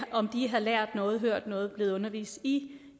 om de har lært noget hørt noget er blevet undervist i